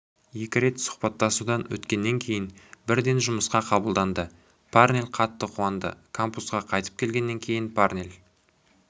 екі рет сұхбаттасудан өткеннен кейін бірден жұмысқа қабылданды парнель қатты қуанды кампусқа қайтып келгеннен кейін парнель